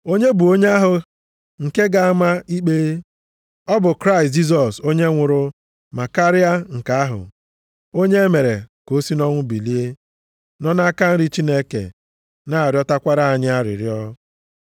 Onye bụ onye ahụ nke ga-ama ikpe? Ọ bụ Kraịst Jisọs onye nwụrụ, ma karịa nke ahụ, onye e mere ka o si nʼọnwụ bilie, nọ nʼaka nri Chineke na-arịọtakwara anyị arịrịọ.